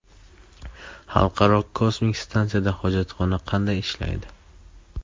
Xalqaro kosmik stansiyada hojatxona qanday ishlaydi?